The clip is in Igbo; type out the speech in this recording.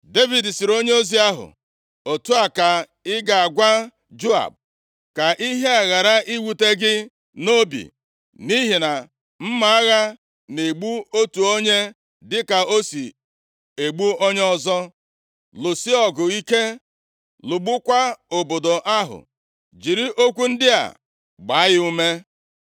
Devid sịrị onyeozi ahụ, “Otu a ka ị ga-agwa Joab, ‘Ka ihe a ghara iwute gị nʼobi, nʼihi na mma agha na-egbu otu onye dịka o si egbu onye ọzọ. Lụsie ọgụ ike, lụgbukwaa obodo ahụ.’ Jiri okwu ndị a gbaa ya ume.”